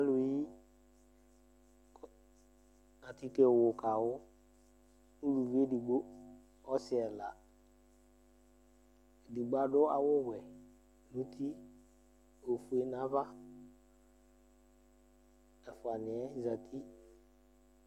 Alu yi atike wu kawu Ʋlʋvi ɛdigbo, ɔsi ɛla Ɛdigbo adu awu wɛ nʋ ʋti, ɔfʋe nʋ ava Ɛfʋaniɛ zɛti